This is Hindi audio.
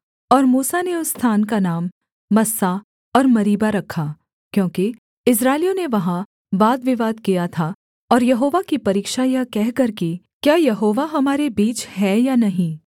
और मूसा ने उस स्थान का नाम मस्सा और मरीबा रखा क्योंकि इस्राएलियों ने वहाँ वादविवाद किया था और यहोवा की परीक्षा यह कहकर की क्या यहोवा हमारे बीच है या नहीं